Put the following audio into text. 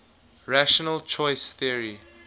rational choice theory